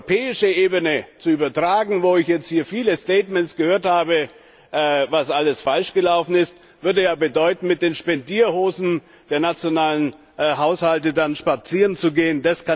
Das auf die europäische Ebene zu übertragen, wo ich jetzt hier viele Statements gehört habe, was alles falsch gelaufen ist, würde ja bedeuten, mit den Spendierhosen der nationalen Haushalte spazierenzugehen.